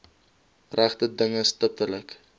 regte dinge stiptelik